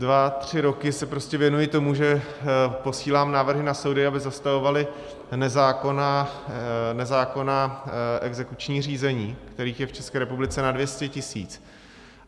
Dva tři roky se prostě věnuji tomu, že posílám návrhy na soudy, aby zastavovaly nezákonná exekuční řízení, kterých je v České republice na 200 tisíc.